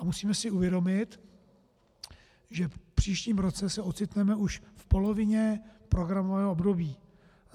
A musíme si uvědomit, že v příštím roce se ocitneme už v polovině programového období.